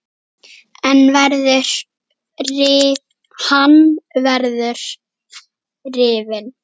Hann verður rifinn.